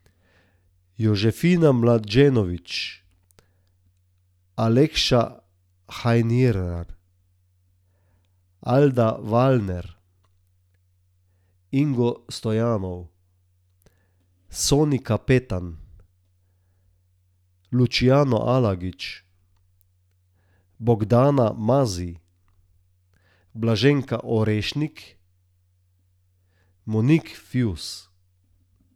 Jožefina Mlađenović, Alexia Hajnrihar, Alda Wallner, Ingo Stoyanov, Soni Kapetan, Luciano Alagič, Bogdana Mazij, Blaženka Orešnik, Monique Fius.